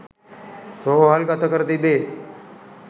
රෝහල්ගත කර තිබේ